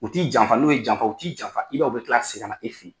U t t'i janfa n'u ye janfa u t'i janfa i b'a ye u bɛ tila ka segin ka na e fɛ ye.